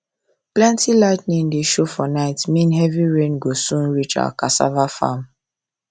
plenty lightning wey show for night mean heavy rain go soon reach our cassava farm